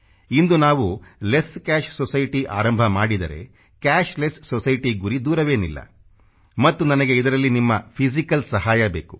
ಇಂದು ನಾವು less cash society ಆರಂಭ ಮಾಡಿದರೆ ಕ್ಯಾಶ್ ಲೆಸ್ ಸೊಸೈಟಿ ಗುರಿ ದೂರವೇನಿಲ್ಲ ಮತ್ತು ನನಗೆ ಇದರಲ್ಲಿ ನಿಮ್ಮ ಫಿಸಿಕಲ್ ಸಹಾಯ ಬೇಕು